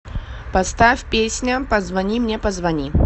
поставь песня позвони мне позвони